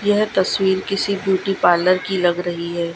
यह तस्वीर किसी ब्यूटी पार्लर की लग रही है।